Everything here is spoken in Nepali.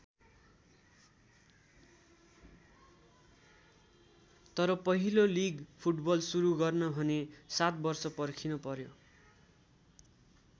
तर पहिलो लिग फुटबल सुरु गर्न भने सात वर्ष पर्खिन पर्‍यो।